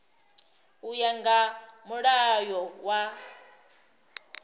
u ya nga mulayo wa